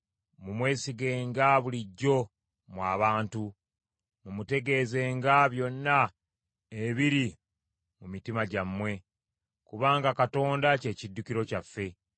Mumwesigenga bulijjo mmwe abantu, mumutegeezenga byonna ebiri mu mitima gyammwe, kubanga Katonda kye kiddukiro kyaffe.